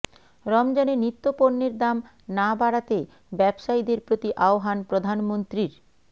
রমজানে নিত্য পণ্যের দাম না বাড়াতে ব্যবসায়ীদের প্রতি আহবান প্রধানমন্ত্রীর